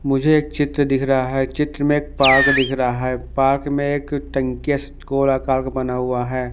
मुझे एक चित्र दिख रहा है चित्र में एक पार्क दिख रहा है पार्क में एक टंकिस गोल आकार का बना हुआ है।